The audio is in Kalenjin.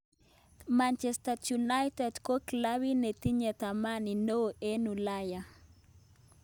Manchester United ko clubit nitinye thamani neo en ualaya.